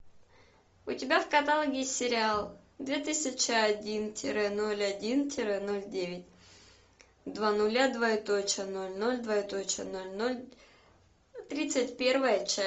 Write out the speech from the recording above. у тебя в каталоге есть сериал две тысячи один тире ноль один тире ноль девять два нуля двоеточие ноль ноль двоеточие ноль ноль тридцать первая часть